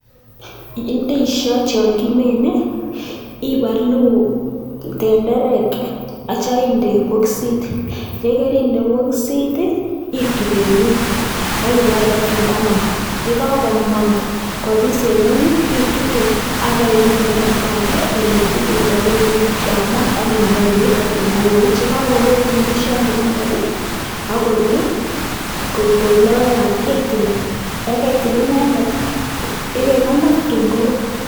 Ndisiot yon kimine ,ibolu tenderek aityo bokisit, yekerinde bokisit itub en ngweny akibakach tatun komong',yekokomong' kobis en ngweny itutu akibeimin en oldo age ole tilil ak ole yamat akinokoi beek tatun kowoit, yekokowoit ndisiot inendet akorur koib logoiyat itil yekeitil inendet ibekonor tatun korur.